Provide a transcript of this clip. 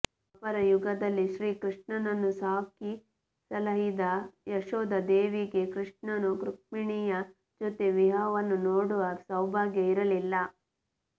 ದ್ವಾಪರ ಯುಗದಲ್ಲಿ ಶ್ರೀ ಕೃಷ್ಣನನ್ನು ಸಾಕಿ ಸಲಹಿದ ಯಶೋದ ದೇವಿಗೆ ಕೃಷ್ಣನು ರುಕ್ಮಿಣಿಯ ಜೊತೆ ವಿವಾಹವನ್ನು ನೋಡುವ ಸೌಭಾಗ್ಯ ಇರಲಿಲ್ಲ